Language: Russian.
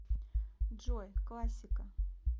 джой классика